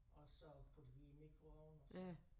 Og så putte i mikroovn og så